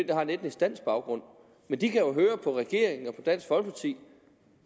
der har en etnisk dansk baggrund men de kan jo høre på regeringen og på dansk folkeparti